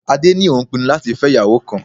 Adé ní òun pinnu láti fẹ́ ìyàwó kan.